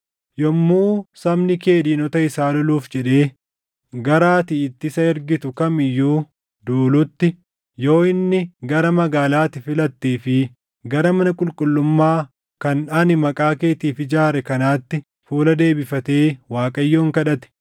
“Yommuu sabni kee diinota isaa loluuf jedhee gara ati itti isa ergitu kam iyyuu duulutti, yoo inni gara magaalaa ati filattee fi gara mana qulqullummaa kan ani Maqaa keetiif ijaare kanaatti fuula deebifatee Waaqayyoon kadhate,